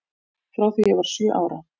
Frá því ég var sjö ára.